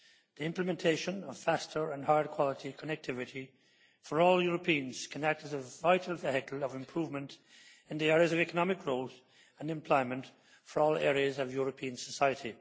The implementation of faster and higher quality connectivity for all Europeans can act as a vital vehicle of improvement in the areas of economic growth and employment for all areas of European society.